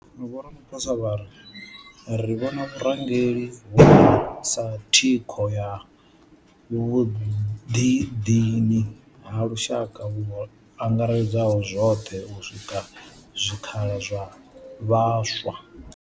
Vho Ramaphosa vho ri ri vhona vhurangeli hovhu sa thikho ya vhuḓidini ha lushaka vhu angaredzaho zwoṱhe u sika zwikhala zwa vhaswa.